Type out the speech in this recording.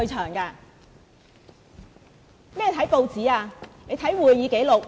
看甚麼報紙，你應該看會議紀錄。